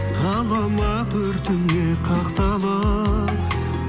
ғаламат өртіңе қақталып